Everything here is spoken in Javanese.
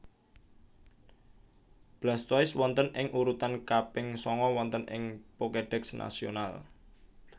Blastoise wonten ing urutan kaping sanga wonten ing Pokédex nasional